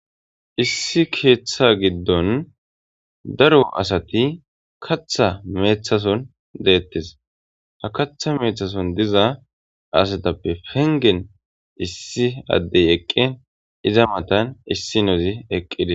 Issi ketha gidon daro asat katha methadan detes. Katha methason diza asatappe issi adey eqin iza matan issinoz eqides.